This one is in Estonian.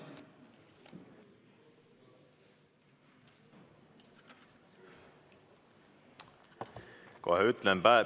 Kohe ütlen.